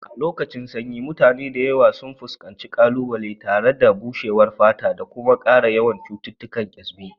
A lokacin lokacin sanyi, mutane da yawa sun fuskanci ƙalubale tare da bushewar fata da kuma ƙara yawan cututtukan kyasbi.